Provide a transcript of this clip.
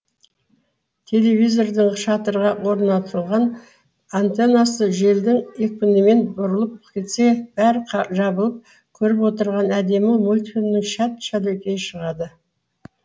телевизордың шатырға орнатылған антеннасы желдің екпінімен бұрылып кетсе бәрі жабылып көріп отырған әдемі мультфильмнің шәт шәлекейі шығады